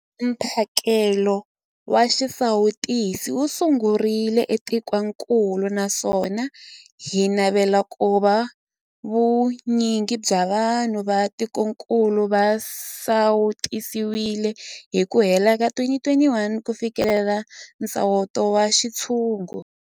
Mphakelo wa xisawutisi wu sungurile etikwenikulu naswona hi navela ku va vu nyingi bya vanhu va tikokulu va sawutisiwile hi ku hela ka 2021 ku fikelela nsawuto wa xintshungu.